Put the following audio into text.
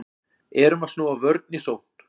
Erum að snúa vörn í sókn